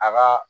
A ka